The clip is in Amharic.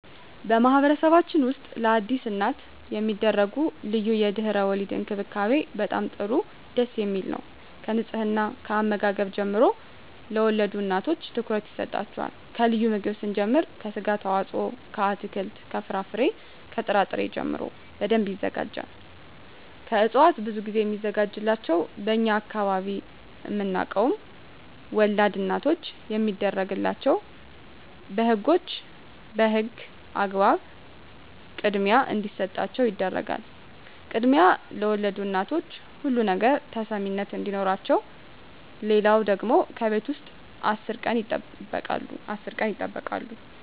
በማህበረሰብችን ውስጥ ለአዲስ እናት የሚደረጉ ልዩ የድህረ _ወሊድ እንክብካቤ በጣም ጥሩ ደስ የሚል ነው ከንጽሕና ከአመጋገብ ጀምሮ ለወልድ እናቶች ትኩረት ይሰጣቸዋል ከልዩ ምግብ ስንጀምር ከስጋ አስተዋጽኦ ከአትክልት ከፍራፍሬ ከጥራ ጥሪ ጀምሮ በደንብ ይዘጋጃል ከእጽዋት ብዙ ግዜ ሚዘጋጅላቸው በእኛ አካባቢ አናውቀውም ወላድ እናቶች የሚደረግላቸው በህጎች በህግ አግባብ ክድሚያ እንዲሰጣቸው ይደረጋል ክድሚያ ለወልድ እናቶች ሁሉ ነገር ተሰሚነት አዲኖረቸው ሌለው ደግሞ ከቤት ውስጥ አስር ቀን ይጠበቃሉ